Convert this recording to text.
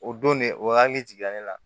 O don ne o hakili jiginna ne la